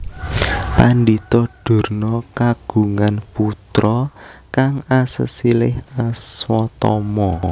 Pandhita Durna kagungan putra kang asesilih Aswatama